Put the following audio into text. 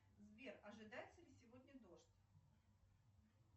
сбер ожидается ли сегодня дождь